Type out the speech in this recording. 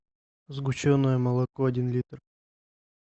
сгущенное молоко один литр